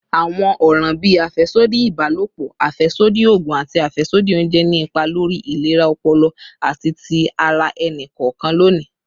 Awọn ọran bii afẹsodi ibalopọ, afẹsodi oogun, ati afẹsodi ounjẹ ni ipa lori ilera ọpọlọ ati ti ara ẹni kọọkan loni.